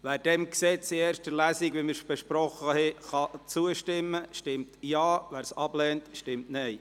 Wer diesem Gesetz in erster Lesung, so, wie wir es besprochen haben, zustimmen kann, stimmt Ja, wer dies ablehnt, stimmt Nein.